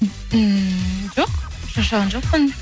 ммм жоқ шаршаған жоқпын